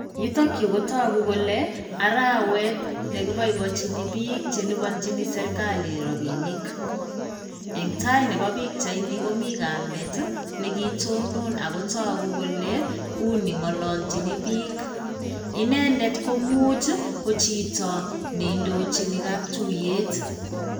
Yutok yuu kotoku kole arawet nekiboiboenji bik chelibonjin serkali rabinik en tai nebo pichanini komii kamet nekitonon ako toku kole u nengololgin bik, inendet koimuch kojito neindoji kaptuyet